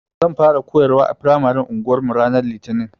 Zan fara koyarwa a firamaren anguwarmu ranar Litinin.